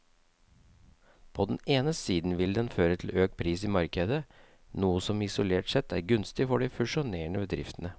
På den ene siden vil den føre til økt pris i markedet, noe som isolert sett er gunstig for de fusjonerende bedriftene.